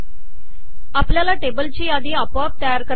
आपल्याला टेबल ची यादी आपोआप तयार करता येते